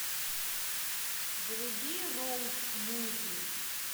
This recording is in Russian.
вруби роуд муви